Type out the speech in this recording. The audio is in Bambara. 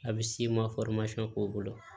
A bɛ si ma k'o bolo